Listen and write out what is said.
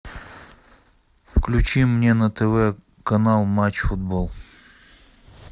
включи мне на тв канал матч футбол